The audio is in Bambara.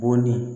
Bɔn ni